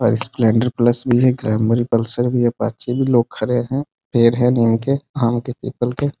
और Splendor plus भी है ग्लैमर पल्सर भी है अपाचे भी है लोग खड़े हैं पेड़ है नीम के आम के पीपल के --